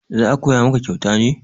za a Koya maka kyauta ne